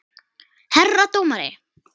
Herra dómari!